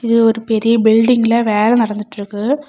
இது ஒரு பெரிய பில்டிங்ல வேள நடந்துட்ருக்கு.